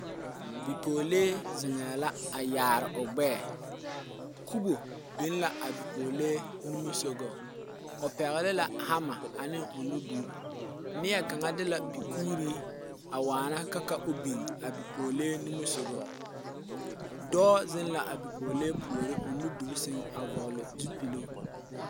Bipɔlee zeŋɛ la a yaare o gbɛɛ, kubo biŋ la a bipɔlee nimisɔgaŋ o pɛgele la hammer ane o nudur ,neɛ kaŋa de la kuuri a waana ka ka o biŋ a bipɔlee nimisɔgaŋ, dɔɔ zeŋ la a bipɔlee puoriŋ o nudur seŋ a vɔgele zupuli